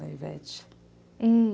Da Ivete.